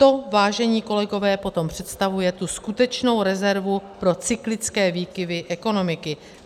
To, vážení kolegové, potom představuje tu skutečnou rezervu pro cyklické výkyvy ekonomiky.